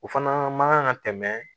O fana man kan ka tɛmɛ